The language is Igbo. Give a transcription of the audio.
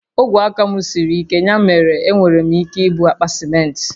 Ogwe aka m siri ike, ya mere enwere m ike ibu àkpà simenti